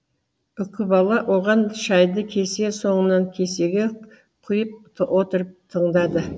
үкібала оған шайды кесе соңынан кесеге құйып отырып тыңдады